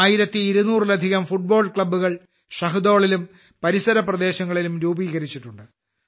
1200ലധികം football ക്ലബ്ബുകൾ ഷഹ്ദോളിലും പരിസര പ്രദേശങ്ങളിലും രൂപീകരിച്ചിട്ടുണ്ട്